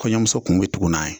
Kɔɲɔmuso kun bɛ tugu n'a ye.